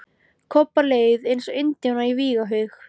Kobba leið eins og indjána í vígahug.